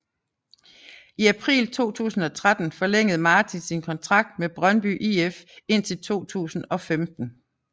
I april 2013 forlængede Martin sin kontrakt med Brøndby IF indtil 2015